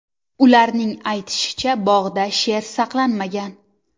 Ularning aytishicha, bog‘da sher saqlanmagan.